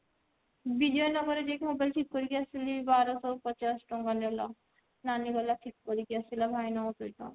ଯିଏ କି ମୁଁ କରିକି ଆସିଲି ବାରଶହ ପଚାଶ ଟଙ୍କା ନେଲା ନାନି କରିକି ଆସିଲା